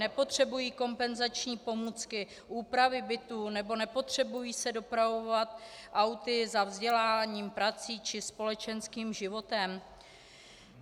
Nepotřebují kompenzační pomůcky, úpravy bytů nebo nepotřebují se dopravovat auty za vzděláním, prací či společenským životem?